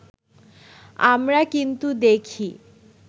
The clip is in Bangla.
আমরা কিন্তু দেখি